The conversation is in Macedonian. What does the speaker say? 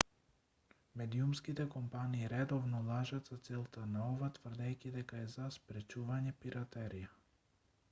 медиумските компании редовно лажат за целта на ова тврдејќи дека е за спречување пиратерија